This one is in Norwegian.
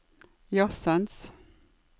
jazzens